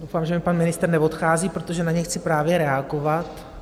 Doufám, že mi pan ministr neodchází, protože na něj chci právě reagovat.